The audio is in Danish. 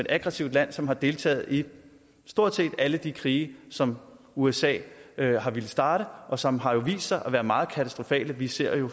aggressivt land som har deltaget i stort set alle de krige som usa har villet starte og som har vist sig at være meget katastrofale vi ser jo